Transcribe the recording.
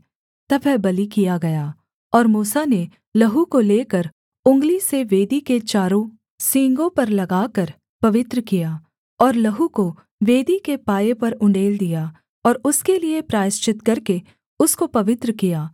तब वह बलि किया गया और मूसा ने लहू को लेकर उँगली से वेदी के चारों सींगों पर लगाकर पवित्र किया और लहू को वेदी के पाए पर उण्डेल दिया और उसके लिये प्रायश्चित करके उसको पवित्र किया